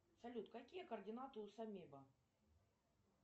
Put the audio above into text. салют какие координаты у самеба